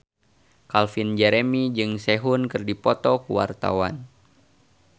Calvin Jeremy jeung Sehun keur dipoto ku wartawan